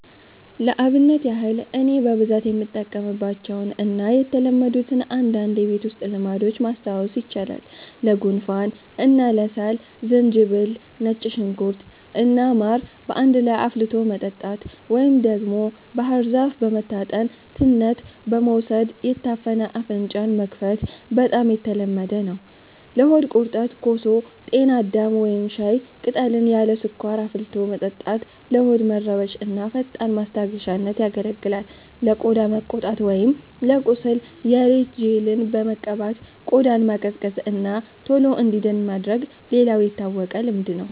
ለአብነት ያህል እኔ በብዛት የምጠቀምባቸውን እና የተለመዱትን አንዳንድ የቤት ውስጥ ልምዶች ማስታወስ ይቻላል፦ ለጉንፋን እና ለሳል፦ ዝንጅብል፣ ነጭ ሽንኩርት እና ማር በአንድ ላይ አፍልቶ መጠጣት፣ ወይም ደግሞ ባህር ዛፍ በመታጠን ትነት በመውሰድ የታፈነ አፍንጫን መክፈት በጣም የተለመደ ነው። ለሆድ ቁርጠት፦ ኮሶ፣ ጤና አዳም ወይም ሻይ ቅጠልን ያለ ስኳር አፍልቶ መጠጣት ለሆድ መረበሽ እንደ ፈጣን ማስታገሻነት ያገለግላል። ለቆዳ መቆጣት ወይም ለቁስል፦ የሬት ጄልን በመቀባት ቆዳን ማቀዝቀዝ እና ቶሎ እንዲድን ማድረግ ሌላው የታወቀ ልምድ ነው።